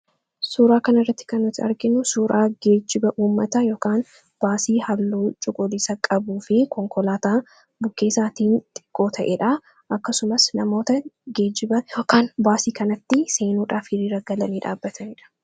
Suuraa kana irratti kan nuti arginu, suuraa geejiba uummataa yookaan geejiba uummataa halluu cuquliisa qabuu fi konkolaataa uummataa bukkee isaatiin xiqqoo ta'edha. akkasumas namoota geejiba yookaan baasii kanatti seenuudhaaf hiriira galanii dhaabbataniidha.